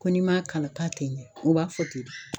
Ko n'i m'a kalan k'a tɛ ɲɛ u b'a fɔ ten de.